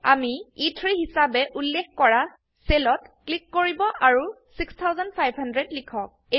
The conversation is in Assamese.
আমি এ3 হিসাবে উল্লেখ কৰা সেলত ক্লিক কৰিব আৰু 6500 লিখক